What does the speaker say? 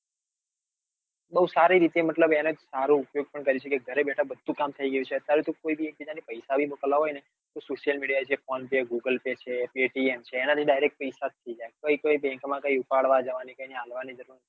બઉ સારી રીતે મતલબ એનો સારો ઉપયોગ પણ કરી સકાય ઘરે બેઠા બધા કામ થઈ જાય છે. અત્યારે તો કોઈ બી એક બીજા ને પૈસા ને મોકલાવવા હોય ને તો social media જે phone paygooglepay છે paytm છે એના થી direct પૈસા જ થઇ જાયકઈ કઈ bank કઈ bank લઇ ઉપાડવા જવાની આપવા ની જરૂર.